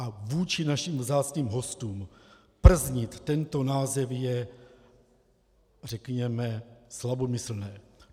A vůči našim vzácným hostům prznit tento název je, řekněme, slabomyslné.